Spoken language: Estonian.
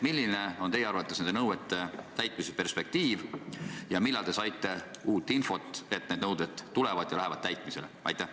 Milline on teie arvates nende nõuete täitmise perspektiiv ja millal te saite uut infot, et need nõuded tulevad ja lähevad täitmisele?